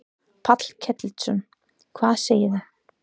Páll Ketilsson: Hvað segirðu?